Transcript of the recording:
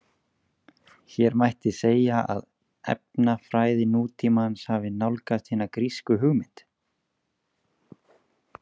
Hér mætti segja að efnafræði nútímans hafi nálgast hina grísku hugmynd.